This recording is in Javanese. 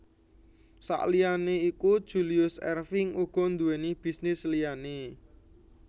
Saliyané iku Julius Erving uga nduwèni bisnis liyané